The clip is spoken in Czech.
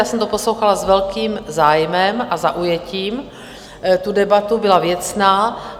Já jsem to poslouchala s velkým zájmem a zaujetím, tu debatu, byla věcná.